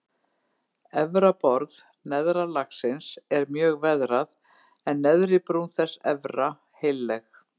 Efra borð neðra lagsins er mjög veðrað en neðri brún þess efra heilleg.